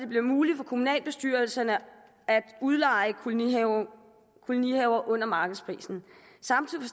bliver muligt for kommunalbestyrelserne at udleje kolonihaver kolonihaver under markedsprisen samtidig